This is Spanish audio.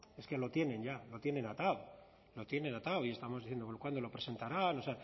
es que lo tienen ya lo tienen atado lo tienen atado y estamos diciendo cuándo lo presentará o